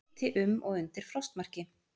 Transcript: Hiti um og undir frostmarki